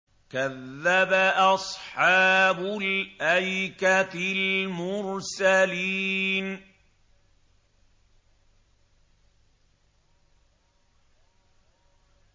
كَذَّبَ أَصْحَابُ الْأَيْكَةِ الْمُرْسَلِينَ